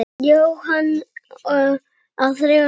Jóhann á þrjá syni.